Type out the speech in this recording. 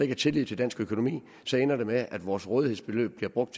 er tillid til dansk økonomi ender det med at vores rådighedsbeløb bliver brugt